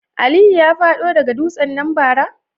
Aliyu ya fado daga dutsen nan bara?